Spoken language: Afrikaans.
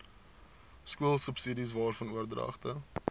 skoolsubsidies waarvan oordragte